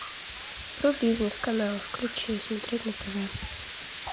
про бизнес канал включи смотреть на тв